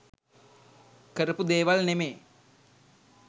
කරපු දේවල් නෙමේ.